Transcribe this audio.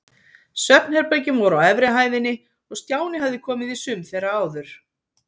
Svefnherbergin voru á efri hæðinni og Stjáni hafði komið í sum þeirra áður.